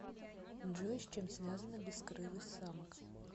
джой с чем связана бескрылость самок